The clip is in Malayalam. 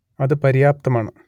അത് പര്യാപ്തമാണ്